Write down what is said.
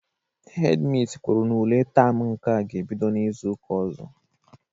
Hedi misi kwuru na ule taam nke a ga-ebido n'izu ụka ọzọ.